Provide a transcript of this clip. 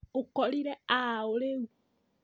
Ũkorire a ũũ rũĩ?